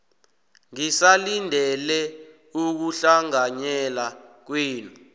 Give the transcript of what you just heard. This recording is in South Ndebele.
ngisalindele ukuhlanganyela kwenu